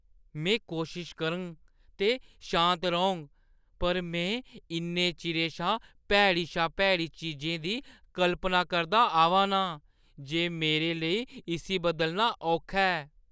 में कोशश करङ ते शांत रौह्‌‌ङ पर में इन्ने चिरे शा भैड़ी शा भैड़ी चीजें दी कल्पना करदा आवा ना आं जे मेरे लेई इस्सी बदलना औखा ऐ।